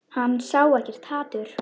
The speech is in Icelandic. Hann sá ekkert hatur.